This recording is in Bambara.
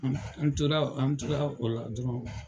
Nga an tola o la dɔrɔn.